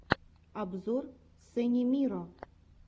обзор сени миро